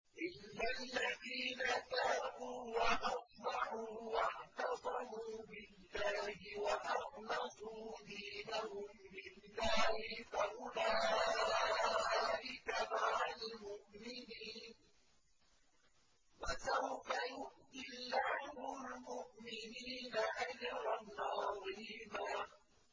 إِلَّا الَّذِينَ تَابُوا وَأَصْلَحُوا وَاعْتَصَمُوا بِاللَّهِ وَأَخْلَصُوا دِينَهُمْ لِلَّهِ فَأُولَٰئِكَ مَعَ الْمُؤْمِنِينَ ۖ وَسَوْفَ يُؤْتِ اللَّهُ الْمُؤْمِنِينَ أَجْرًا عَظِيمًا